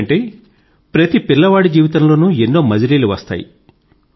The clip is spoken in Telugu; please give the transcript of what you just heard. ఎందుకంటే ప్రతి పిల్లవాడి జీవితంలోనూ ఎన్నో మజిలీలు వస్తాయి